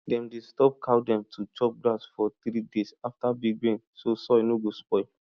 dem dey stop cow dem to chop grass for three days after big rain so soil no go spoil